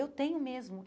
Eu tenho mesmo.